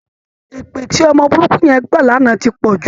Èpè tí ọmọ burúkú yẹn gbà lánàá ti pọ̀ jù